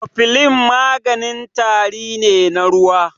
Kofilin maganin tari ne na ruwa.